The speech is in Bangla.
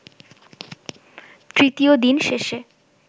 তৃতীয় দিন শেষে